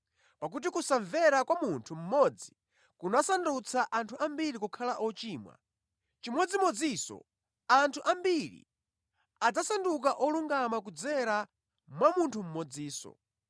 Pakuti kusamvera kwa munthu mmodzi kunasandutsa anthu ambiri kukhala ochimwa, chimodzimodzinso anthu ambiri adzasanduka olungama kudzera mwa munthu mmodzinso.